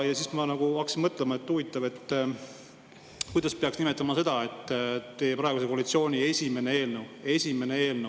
Ja siis ma hakkasin mõtlema, et huvitav, kuidas peaks nimetama seda, et praeguse koalitsiooni esimene eelnõu – esimene eelnõu!